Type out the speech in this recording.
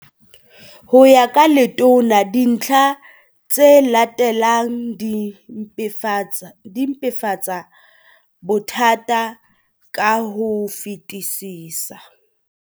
Ho ya ka Letona, dintlha tse latelang di mpefatsa bothata ka ho fetisisa.